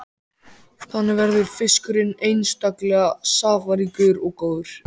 Þannig verður fiskurinn einstaklega safaríkur og góður.